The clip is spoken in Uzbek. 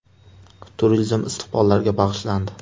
Turizm istiqbollariga bag‘ishlandi.